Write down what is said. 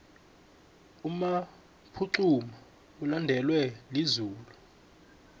umaphaxuma ulandelwa lizulu